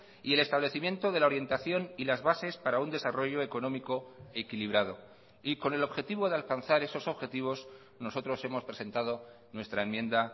y el establecimiento de la orientación y las bases para un desarrollo económico equilibrado y con el objetivo de alcanzar esos objetivos nosotros hemos presentado nuestra enmienda